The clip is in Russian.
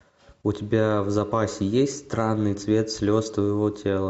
у тебя в запасе есть странный цвет слез твоего тела